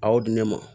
A y'o di ne ma